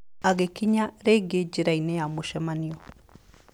Agĩkinya rĩngĩ njĩra-inĩ ya mũcemanio.